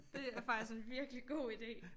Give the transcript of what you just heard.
Det er faktisk en virkelig god ide